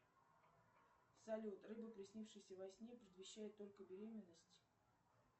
салют рыба приснившаяся во сне предвещает только беременность